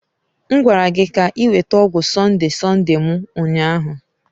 M gwara gị ka ị weta ọgwụ Sonde-Sonde m ụnyahụ!